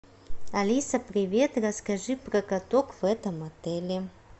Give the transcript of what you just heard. алиса привет расскажи про каток в этом отеле